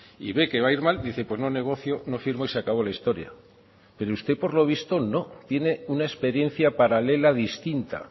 y ve que va a ir mal dice pues no negocio no firmo y se acabo la historia pero usted por lo visto no tiene una experiencia paralela distinta